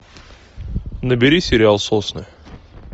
набери сериал сосны